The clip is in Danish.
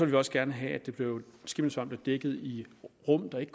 vil også gerne have at skimmelsvamp dækket i rum der ikke